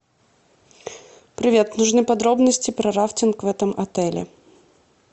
привет нужны подробности про рафтинг в этом отеле